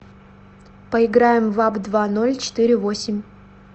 поиграем в апп два ноль четыре восемь